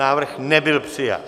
Návrh nebyl přijat.